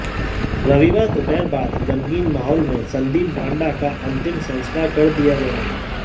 रविवार दोपहर बाद गमगीन माहौल में संदीप ढांडा का अतिम संस्कार कर दिया गया